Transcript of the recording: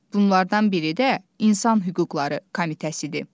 Bunlardan biri də İnsan Hüquqları Komitəsidir.